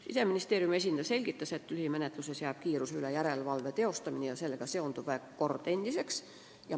Siseministeeriumi esindaja selgitas, et mis puutub lühimenetlusse, siis kiiruse üle järelevalve teostamine ja sellega seonduv kord jääb endiseks.